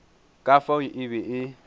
ka fao e be e